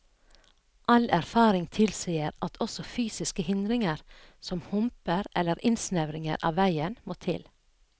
All erfaring tilsier at også fysiske hindringer, som humper eller innsnevringer av veien, må til.